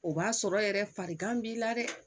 O b'a sɔrɔ yɛrɛ farigan b'i la dɛ